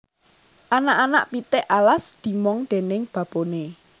Anak anak pitik alas dimong déning baboné